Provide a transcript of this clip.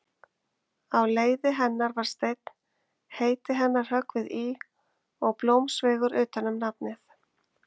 Á leiði hennar var steinn, heiti hennar höggvið í og blómsveigur utan um nafnið.